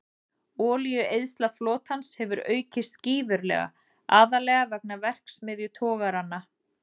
Olíueyðsla flotans hefur aukist gífurlega, aðallega vegna verksmiðjutogaranna.